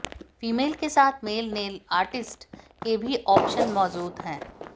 female के साथ male nail artist के भी ऑप्शन मौजूद हैं